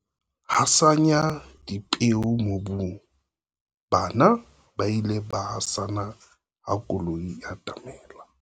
hasanya dipeo mobung, bana ba ile ba hasana ha koloi e atamela